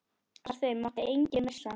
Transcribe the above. Af þeim mátti enginn missa.